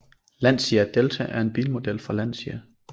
Lancia Delta er en bilmodel fra Lancia